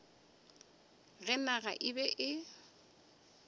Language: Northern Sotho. ge naga e be e